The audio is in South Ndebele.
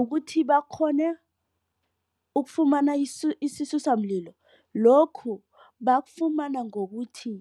Ukuthi bakghone ukufumana isisusa mlilo lokhu bakufumana ngokuthi